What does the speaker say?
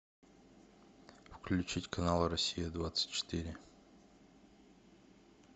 включить канал россия двадцать четыре